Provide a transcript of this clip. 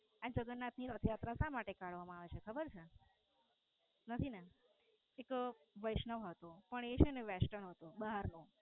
આ જગન્નાથ ની રથયાત્રા શા માટે ખબર છે? નથી ને? એક વૈષ્ણવ હતો પણ એ Western હતો બહાર નો